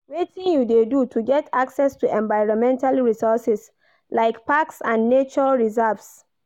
Wetin you dey do to get access to environmental resources like parks and nature reserves?